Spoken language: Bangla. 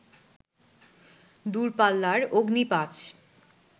দূরপাল্লার অগ্নি ৫